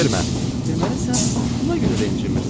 Deməli sən buna görə də incimirsən, hə?